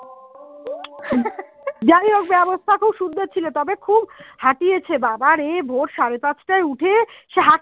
ব্যবস্থা খুব সুন্দর ছিল তবে খুব খাটিয়েছে বাবা ভোর সাড়ে পাঁচটায় উঠে হাটছি